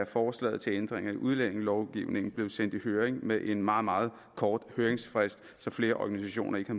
forslag til ændring af udlændingelovgivningen blev sendt i høring med en meget meget kort høringsfrist så flere organisationer ikke